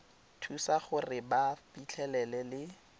thusa gore ba fitlhelele le